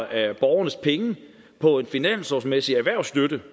af borgernes penge på en finanslovsmæssig erhvervsstøtte